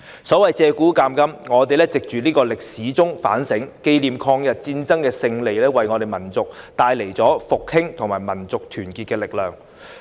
所謂借古鑒今，我們藉歷史反省，紀念抗日戰爭的勝利為我們民族帶來了復興及民族團結的力量。